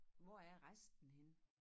Hvor er resten henne?